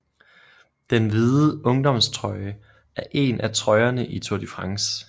Den hvide ungdomstrøje er en af trøjerne i Tour de France